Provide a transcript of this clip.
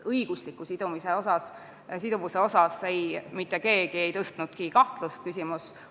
Õigusliku siduvuse küsimust mitte keegi kahtluse alla ei pannud.